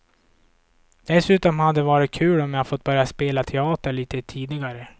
Dessutom hade det varit kul om jag fått börja spela teater lite tidigare.